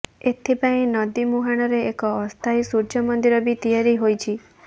ଏଥିପାଇଁ ନଦୀ ମୁହାଣରେ ଏକ ଅସ୍ଥାୟୀ ସୂର୍ଯ୍ୟ ମନ୍ଦିର ବି ତିଆରି ହୋଇଛି